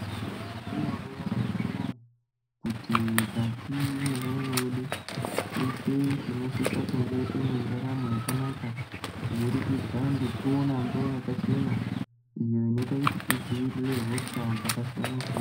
Mwaizviziya ere nyamashi unouyu kuti mukati mwendaramo yedu teshe tinosisa kunge tine ndaramo yakanaka kubudikidza ngekuona mvura yakachena iyo inoita kuti tidzivirire hosha dzakasiyana siyana.